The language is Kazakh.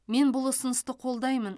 мен бұл ұсынысты қолдаймын